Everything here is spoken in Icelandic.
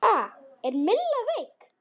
Ha, er Milla veik?